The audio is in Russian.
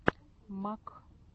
мак